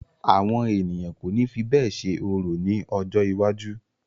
Àwọn ènìyàn kò ní fi bẹ́ẹ̀ ṣe orò ni ojó iwájú.